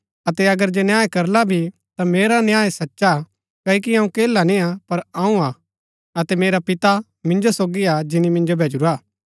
अतै अगर जे न्याय करला भी ता मेरा न्याय सचा हा क्ओकि अऊँ अकेला निय्आ पर अऊँ हा अतै मेरा पिता मिन्जो सोगी हा जिनी मिन्जो भैजुरा